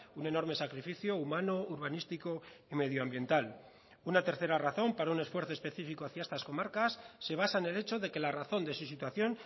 un enorme sacrificio humano urbanístico y medioambiental una tercera razón para un esfuerzo específico hacia estas comarcas se basa en el hecho de que la razón de su situación